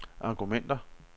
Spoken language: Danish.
argumenter